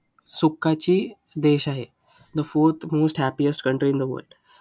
सुखाची देश आहे. the fourth most happiest country in the world.